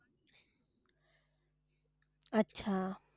अच्छा.